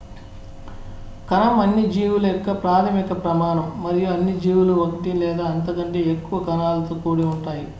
కణం అన్ని జీవుల యొక్క ప్రాథమిక ప్రమాణం మరియు అన్ని జీవులు ఒకటి లేదా అంతకంటే ఎక్కువ కణాలతో కూడి ఉంటాయి